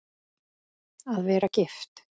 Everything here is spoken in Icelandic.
Að vera gift?